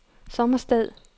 Sommersted